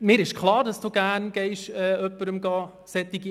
Wir kommen zur Abstimmung.